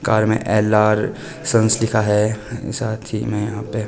car में L R sons लिखा है साथी में यहां पे--